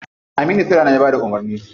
Aminu saira ne ya bada umarni.